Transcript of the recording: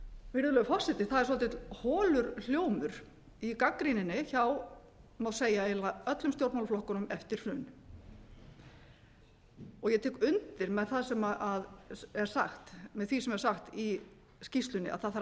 virðulegur forseti það er svolítið holur hljómur í gagnrýninni hjá má segja eiginlega öllum stjórnmálaflokkunum eftir hrun ég tek undir með því sem er sagt í skýrslunni að það þarf að